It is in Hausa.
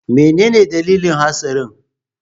Menene dalilin hatsarin?